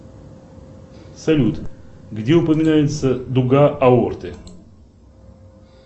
салют где упоминается дуга аорты